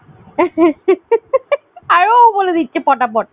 আর ও বলে দিচ্ছে পটাপট